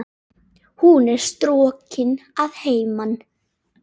Hún er strokin að heiman.